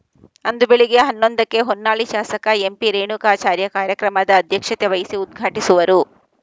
ಅಂದು ಬೆಳಿಗ್ಗೆ ಹನ್ನೊಂದಕ್ಕೆ ಹೊನ್ನಾಳಿ ಶಾಸಕ ಎಂಪಿರೇಣುಕಾಚಾರ್ಯ ಕಾರ್ಯಕ್ರಮದ ಅಧ್ಯಕ್ಷತೆ ವಹಿಸಿ ಉದ್ಘಾಟಿಸುವರು